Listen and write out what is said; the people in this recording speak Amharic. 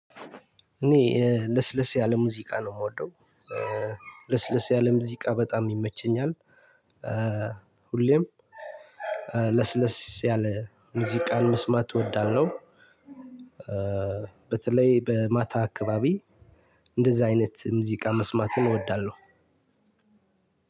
እኔ ለስለስ ያለ ሙዚቃ ነው የምወደው። ለስለስ ያለ ሙዚቃ በጣም ይመቸኛል። ሁሌም ለስለስ ያለ ሙዚቃን መስማት እወዳለሁ። በተለይ በማታ አካባቢ እንደዛ አይነት ሙዚቃ መስማትን እወዳለሁ።